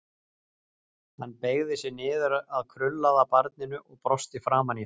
Hann beygði sig niður að krullaða barninu og brosti framan í það.